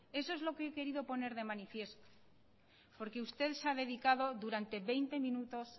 eso es lo que he querido poner de manifiesto porque usted se ha dedicado durante veinte minutos